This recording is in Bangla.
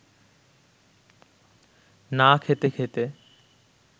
না খেতে খেতে